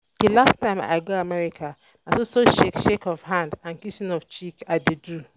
https://storage.googleapis.com/african_voice_telegram_audios/pidgin/pcm_f_PECS1F56_pcm_LR4_125_R1.wav